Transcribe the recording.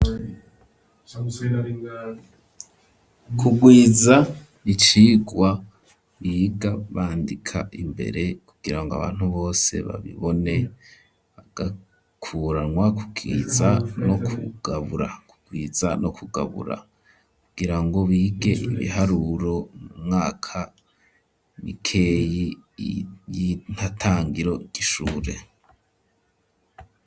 Kugwiza n'ibicigwa biga bandika imbere kugira ngo abantu bose babibone agakuranywa kubwiza no kugabura kugira ngo bige ibiharuro mumwaka mikeyi y'inkatangiro ry'ishure.